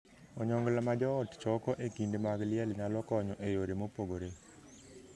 Onyongla ma joot choko e kinde mag liel nyalo konyo e yore mopogore.